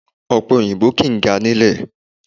Ọ̀pẹ òyìnbó kìí ga nílè